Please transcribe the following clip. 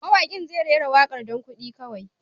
Mawaƙin zai rera waƙar don kuɗi kawai.